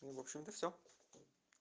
в общем-то всё